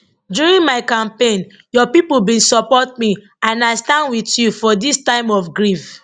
during my campaign your pipo bin support me and i stand wit you for dis time of grief